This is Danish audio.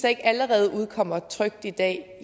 ikke allerede udkommer trykt i dag